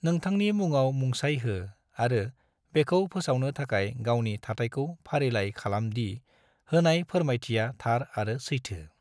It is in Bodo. नोंथांनि मुंआव मुंसाइ हो आरो बेखौ फोसावनो थाखाय गावनि थाथायखौ फारिलाइ खालाम दि होनाय फोरमायथिया थार आरो सैथो।